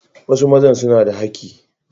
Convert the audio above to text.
Wasu mazan suna da haki.